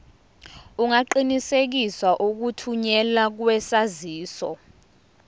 ungaqinisekisa ukuthunyelwa kwesaziso